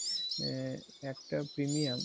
আ~ একটা premium